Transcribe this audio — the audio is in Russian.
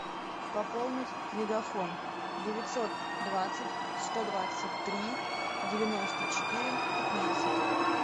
пополнить мегафон девятьсот двадцать сто двадцать три девяносто четыре пятнадцать